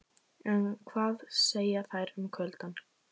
En hvað segja þær um kuldann?